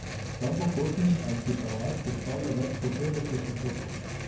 Ta bohotni arhipelag sestavlja več kot petdeset otokov.